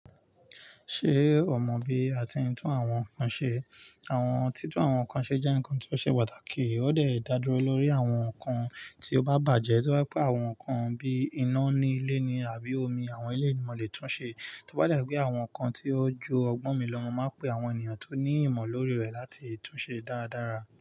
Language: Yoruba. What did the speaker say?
Ṣé o mọ bí a ti ń tún àwọn ǹkan ṣe? Àwọn títún àwọn ǹkan ṣe jẹ́ ǹkan tí ó ṣe pàtàkì, ó dẹ̀ dá dúró lórí àwọn ǹkan tí ó bá bàjẹ́, tó bá jẹ́ pé àwọn ǹkan bí iná ní ilé ní àbí omi àwọn eléyí ni mo lè tún ṣe, tó bá dá jẹ́ pé àwọn ǹkan tí ó ju ọgbọ́n mi lọ, mo má pe àwọn ènìyàn tí ó ní ìmọ̀ lórí rẹ̀ láti tún ṣe dáradára.